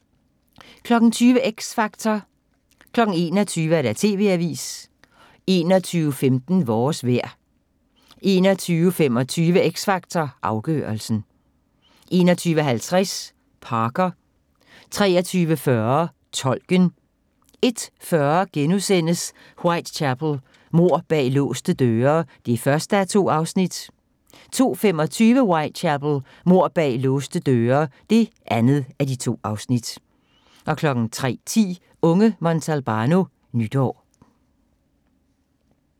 20:00: X Factor 21:00: TV-avisen 21:15: Vores vejr 21:25: X Factor Afgørelsen 21:50: Parker 23:40: Tolken 01:40: Whitechapel: Mord bag låste døre (1:2)* 02:25: Whitechapel: Mord bag låste døre (2:2) 03:10: Unge Montalbano: Nytår